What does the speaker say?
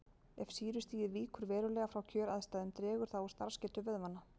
Ef sýrustigið víkur verulega frá kjöraðstæðum dregur það úr starfsgetu vöðvanna.